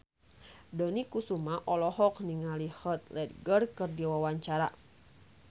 Dony Kesuma olohok ningali Heath Ledger keur diwawancara